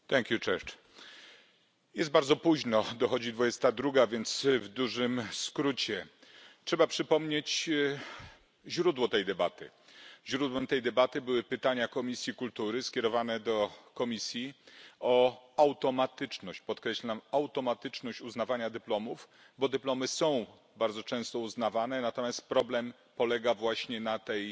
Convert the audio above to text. Panie Przewodniczący! Jest bardzo późno, dochodzi 22, więc w dużym skrócie trzeba przypomnieć źródło tej debaty. Źródłem tej debaty były pytania Komisji Kultury skierowane do Komisji o automatyczność podkreślam automatyczność uznawania dyplomów, bo dyplomy są bardzo często uznawane, natomiast problem polega właśnie na tej